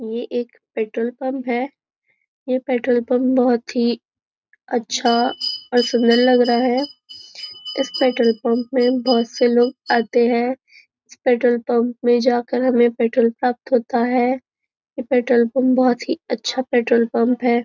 यह एक petrol pump है यह पेट्रोल पंप बहुत ही अच्छा और सुंदर लग रहा है इस पेट्रोल पंप में बहुत से लोग आते हैं इस पेट्रोल पंप में जाकर हमें पेट्रोल प्राप्त होता है यह पेट्रोल पंप बहुत ही अच्छा पेट्रोल पंप है।